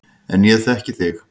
En ég þekki þig.